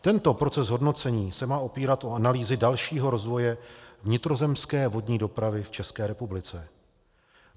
Tento proces hodnocení se má opírat o analýzy dalšího rozvoje vnitrozemské vodní dopravy v České republice.